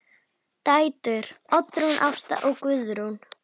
Dætur: Oddrún Ásta og Guðrún.